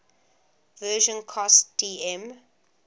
version cost dm